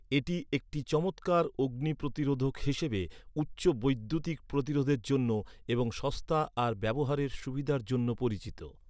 এটি একটি চমৎকার অগ্নি প্রতিরোধক হিসাবে, উচ্চ বৈদ্যুতিক প্রতিরোধের জন্য, এবং সস্তা আর ব্যবহারের সুবিধার জন্য পরিচিত।